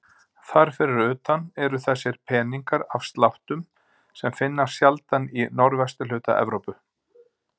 Þar fyrir utan eru þessir peningar af sláttum sem finnast sjaldan í norðvesturhluta Evrópu.